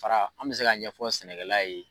Fara an bɛ se ka ɲɛfɔ sɛnɛkɛla ye.